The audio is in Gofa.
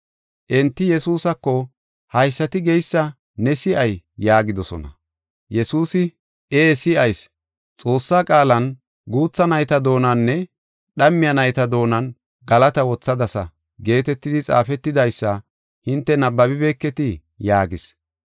Enti Yesuusako, “Haysati geysa ne si7ay?” yaagidosona. Yesuusi, “Ee si7ayis, Xoossaa qaalan, ‘Guutha nayta doonaninne dhammiya nayta doonan galata wothadasa’ geetetidi xaafetidaysa hinte nabbabibeketii?” yaagis.